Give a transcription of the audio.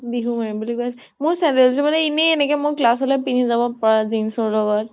বিহু মাৰিম বুলি কৈ আছে । মোৰ চেন্দেল যোৰ মানে এনেই এনেকে class লৈ পিন্ধি যাব পৰা jeans ৰ লগত